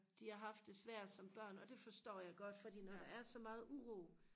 de har haft det svært som børn og det forstår jeg godt for når der er så meget uro